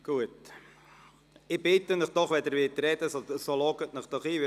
– Ich bitte Sie doch, sich einzuloggen, wenn Sie ein Votum abgeben möchten.